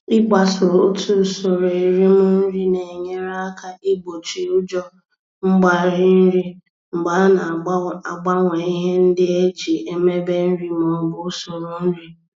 Ịgbaso otu usoro erim nri na-enyere aka igbochi ụjọ mgbarị nri mgbe a na-agbanwe ihe ndị e ji emebe nri maọbụ usoro nri.